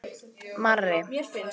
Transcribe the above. Marri